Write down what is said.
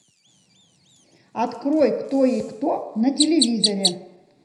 открой кто есть кто на телевизоре